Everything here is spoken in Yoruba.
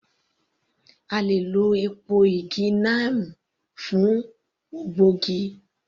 A le è lọ èpo igi neem fún ògbógi